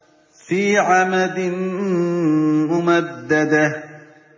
فِي عَمَدٍ مُّمَدَّدَةٍ